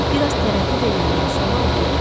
Bir az tərəddüd eləyəndən sonra oturdu.